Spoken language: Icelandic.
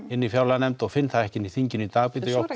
inn í fjárlaganefnd og finn það ekki inn í þinginu í dag